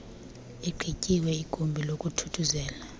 igqityiwe igumbi lokuthuthuzela